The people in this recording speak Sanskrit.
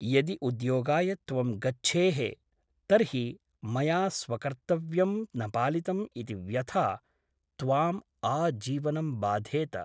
यदि उद्योगाय त्वं गच्छेः तर्हि मया स्वकर्तव्यं न पालितम् इति व्यथा त्वाम् आजीवनं बाधेत ।